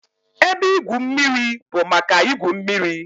Ebe igwu mmiri bụ maka igwu mmiri